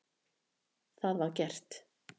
Það var gert.